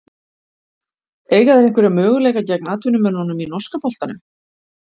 Eiga þeir einhverja möguleika gegn atvinnumönnunum í norska boltanum?